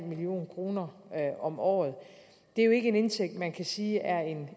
million kroner om året er jo ikke en indtægt man kan sige er